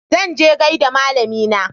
Zan je gaida malamina.